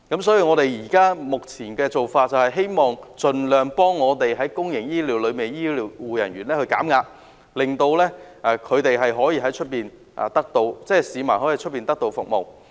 所以，我們目前的目標，就是盡量幫助公營醫療系統的醫護人員減壓，令市民可以得到外來的服務。